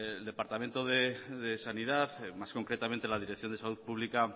el departamento de sanidad más concretamente la dirección de salud pública